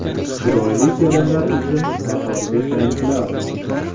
Chiroyli kelinlar uchun bahorgi trendlar.